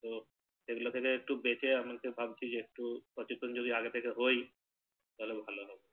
তো এগুলো থেকে একটু বেঁচে আমি ভাবছি যে একটু সচেতন যদি আগে থেকে হই তাহলে ভালো